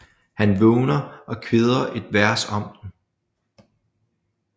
Han vågner og kvæder et vers om den